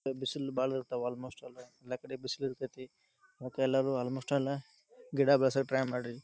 The ಬಿಸಿಲು ಬಾಳ ಇರ್ತವ ಆಲ್ಮೋಸ್ಟ್ ಎಲ್ಲಾ ಕಡೆ ಬಿಸಿಲ ಇರತೈತಿ ಮತ್ತ ಎಲ್ಲರು ಆಲ್ಮೋಸ್ಟ್ ಆಲ್ ಗಿಡ ಬೆಳಸಾಕ್ ಟ್ರೈ ಮಾಡಿ .